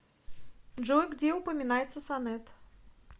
джой где упоминается сонет